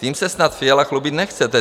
Tím se snad Fiala chlubit nechce.